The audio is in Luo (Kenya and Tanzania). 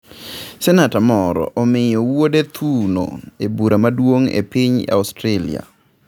Senata moro miyo wuode thuno e bura maduong' e piny Australia